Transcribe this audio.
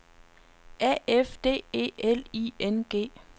A F D E L I N G